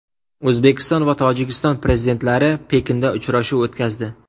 O‘zbekiston va Tojikiston prezidentlari Pekinda uchrashuv o‘tkazdi.